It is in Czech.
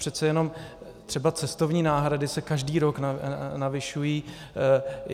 Přece jenom třeba cestovní náhrady se každý rok navyšují.